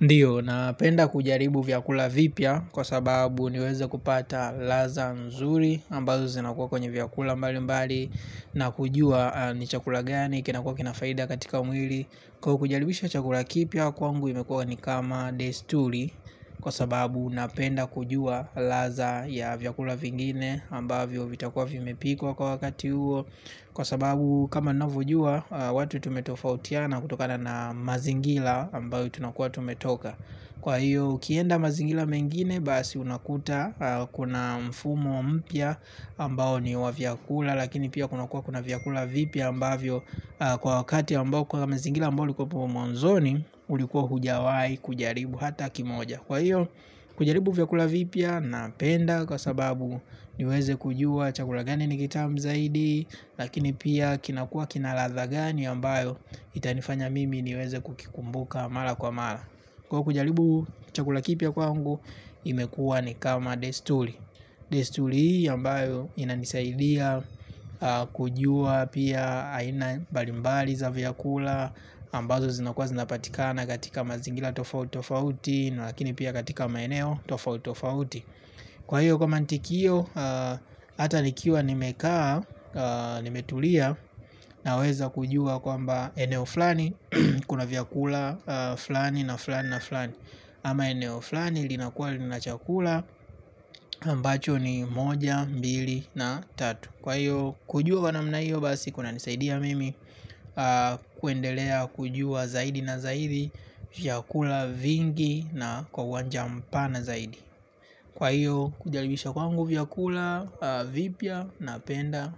Ndiyo napenda kujaribu vyakula vipya kwa sababu niweze kupata ladha nzuri ambazo zinakuwa kwenye vyakula mbali mbali. Na kujua ni chakula gani kinakua kinafaida katika mwili. Kwa kujaribisha chakula kipya kwangu imekua ni kama desturi kwa sababu napenda kujua laza ya vyakula vingine ambavyo vitakua vimepikwa kwa wakati uo. Kwa sababu kama navojua watu tumetofautiana kutokana na mazingila ambayo tunakua tumetoka. Kwa hiyo ukienda mazingila mengine basi unakuta kuna mfumo mpya ambao ni wa vyakula. Lakini pia kunakuwa kuna vyakula vipya ambavyo kwa wakati ambao kwa mazingila ambayo ulikuepo mwanzoni ulikuwa hujawai kujaribu hata kimoja. Kwa hiyo kujaribu vyakula vipya napenda kwa sababu niweze kujua chakula gani ni kitamu zaidi. Lakini pia kinakuwa kina ladha gani ambayo itanifanya mimi niweze kukikumbuka mala kwa mala. Kwa kujalibu chakula kipya kwangu imekua ni kama destuli. Destuli hii ambayo inanisaidia kujua pia aina balimbali za vyakula ambazo zinakuwa zinapatikana katika mazingila tofauti tofauti. Lakini pia katika maeneo tofauti tofauti. Kwa hiyo kwa mantikio hata nikiwa nimekaa nimetulia naweza kujua kwamba eneo flani kuna vyakula flani na flani na flani. Ama eneo flani linakuwa lina chakula ambacho ni moja, mbili na tatu. Kwa hiyo kujua kwa namna hiyo basi kuna nisaidia mimi kuendelea kujua zaidi na zaidi vyakula vingi na kwa uwanja mpana zaidi. Kwa hiyo kujalibisha kwangu vyakula, vipya, napenda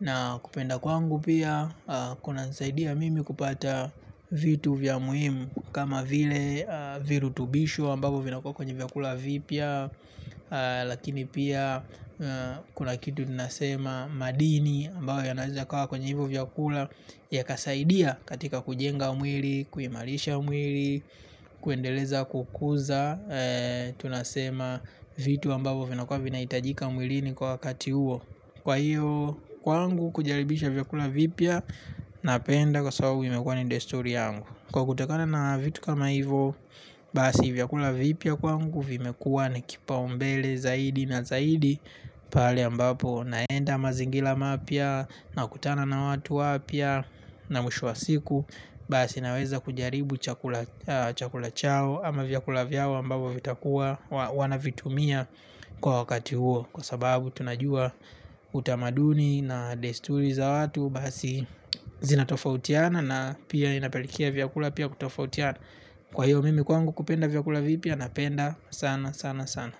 na kupenda kwangu pia kuna nisaidia mimi kupata vitu vya muhimu. Kama vile virutubishu ambavyo vinakuwa kwenye vyakula vipya. Lakini pia kuna kitu tunasema madini ambayo yanaeza yakawa kwenye hivyo vyakula. Ya kasaidia katika kujenga mwili, kuimarisha umwili, kuendeleza kukuza tunasema vitu ambavo vinakua vinaitajika mwilini kwa wakati uo. Kwa hiyo kwangu kujaribisha vyakula vipya napenda kwa sababu imekua ni desturi yangu. Kwa kutakana na vitu kama hivo basi vyakula vipya kwangu vimekuwa ni kipaumbele zaidi na zaidi. Pahali ambapo naenda mazingila mapya nakutana na watu wapya. Na mwisho wa siku basi naweza kujaribu chakula chakula chao. Ama vyakula vyao ambavo vitakuwa wanavitumia kwa wakati huo. Kwa sababu tunajua utamaduni na desturi za watu. Basi zinatofautiana na pia inapelekia vyakula pia kutofautiana. Kwa hiyo mimi kwangu kupenda vyakula vipya napenda sana sana sana.